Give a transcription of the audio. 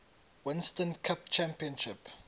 winston cup championship